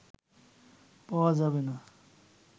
পাওয়া যাবে না